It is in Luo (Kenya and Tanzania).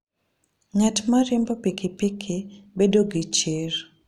Ng'at ma riembo pikipiki bedo gi chir.